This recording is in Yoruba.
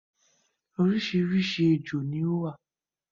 orísirísi ejò ni ó wà